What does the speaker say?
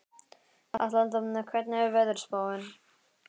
Atlanta, hvernig er veðurspáin?